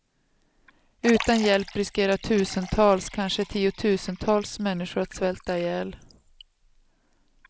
Utan hjälp riskerar tusentals, kanske tiotusentals människor att svälta ihjäl.